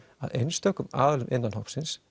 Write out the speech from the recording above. að einstökum aðilum innan hópsins